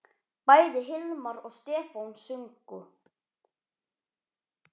Bæði Hilmar og Stefán sungu.